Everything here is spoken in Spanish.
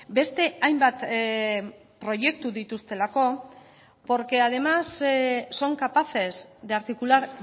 beste hainbat proiektu dituztelako porque además son capaces de articular